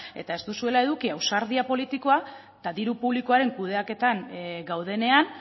eta ez duzuela eduki ausardi politikoa eta diru publikoaren kudeaketan gaudenean